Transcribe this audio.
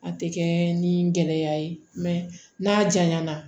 A tɛ kɛ ni gɛlɛya ye n'a janya na